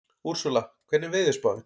Úrsúla, hvernig er veðurspáin?